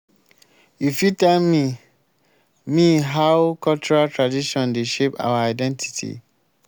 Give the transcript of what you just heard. you fit tell me me how cultural traditon dey shape our identity?